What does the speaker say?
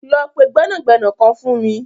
Lọ pẹ gbẹnagbẹna kan fun mi.